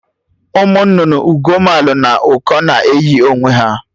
Ụmụ nnụnụ Ugoomalụ na Ụkọ na eyi onwe ha